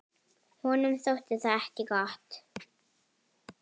Honum þótti það ekki gott.